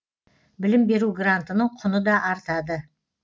білім беру грантының құны да артады